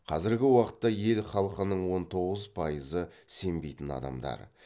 қазіргі уақытта ел халқының он тоғыз пайызы сенбейтін адамдар